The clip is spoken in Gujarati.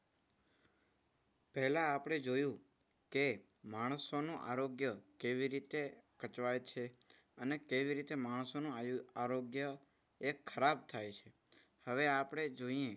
પેહલા આપણે જોયું કે માણસોનું આરોગ્ય કેવી રીતે કચવાય છે. આને કેવી રીતે માણસોનું આયુ આરોગ્ય એક શ્રાપ થાય છે. હવે આપણે જોઈએ,